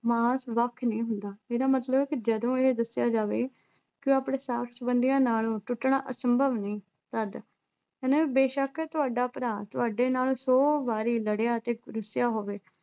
ਮਾਸ ਵੱਖ ਨਹੀਂ ਹੁੰਦਾ ਇਹਦਾ ਮਤਲਬ ਹੈ ਕਿ ਜਦੋਂ ਇਹ ਦੱਸਿਆ ਜਾਵੇ ਕਿ ਆਪਣੇ ਸਾਕ-ਸੰਬੰਧੀਆਂ ਨਾਲੋਂ ਟੁੱਟਣਾ ਅਸੰਭਵ ਨਹੀਂ ਤਦ ਇਹ ਬੇਸ਼ੱਕ ਤੁਹਾਡਾ ਭਰਾ ਤੁਹਾਡੇ ਨਾਲ ਸੌ ਵਾਰੀ ਲੜਿਆ ਅਤੇ ਰੁੱਸਿਆ ਹੋਵੇ